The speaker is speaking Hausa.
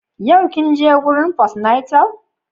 Yau kin je gurin fost- natal?